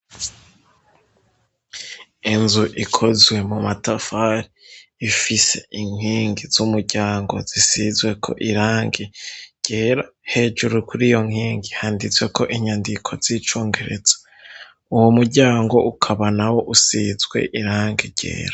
Inzu ikozwe mu matafari ifise inkingi z'umuryango zisizweko irange ryera hejuru kuri iyo nkingi handitsweko inyandiko z'icongereza, uwu muryango ukaba na wo usizwe irange ryera.